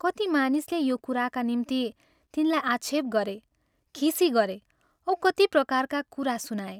कति मानिसले यो कुराका निम्ति तिनलाई आक्षेप गरे, खिसी गरे औ कति प्रकारका कुरा सुनाए।